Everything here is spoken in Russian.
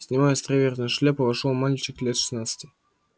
снимая островерхую шляпу вошёл мальчик лет шестнадцати